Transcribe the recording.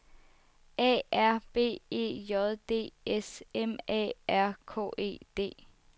A R B E J D S M A R K E D